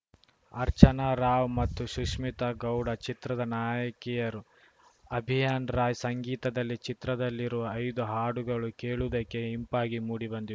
ಅರ್ಚನಾ ರಾವ್‌ ಮತ್ತು ಶುಷ್ಮಿತಾ ಗೌಡ ಚಿತ್ರದ ನಾಯಕಿಯರು ಅಭಿಯಾನ್‌ ರಾಯ್‌ ಸಂಗೀತದಲ್ಲಿ ಚಿತ್ರದಲ್ಲಿರುವ ಐದು ಹಾಡುಗಳು ಕೇಳುವುದಕ್ಕೆ ಇಂಪಾಗಿ ಮೂಡಿಬಂದಿ